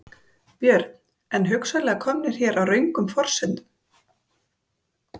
Björn: En hugsanlega komnir hér á röngum forsendum?